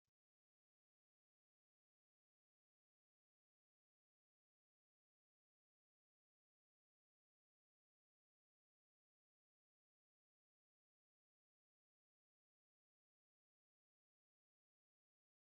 Mucayyoo dubaraa kan baayyee miidhagdee jirtu argaa jirra. Mucayyoon kun diimtuu rifeensi ishee ammoo gurraacha bareedaa taatedha. Isheenis faaya gosoota gara garaa kan ofirraa qabdudha. Isaanis kan gurraa, kan mormaafi kan addaati.